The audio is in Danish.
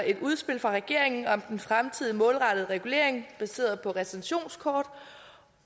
et udspil fra regeringen om den fremtidige målrettede regulering baseret på retentionskort